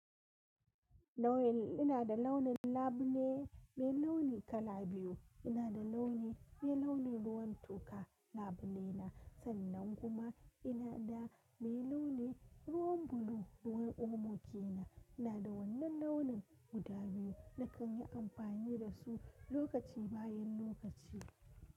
Nawel ina da launin labule mai launi kala biyu. Ina da launi mai launin ruwan toka labule na, sannan kuma ina da mai launin ruwan bulu ruwan omo ke na. Ina da wannan launin guda biyu na kan yi amfani da su lokaci bayan lokaci.